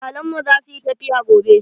Iyalen mu zasu yi tafiya gobe.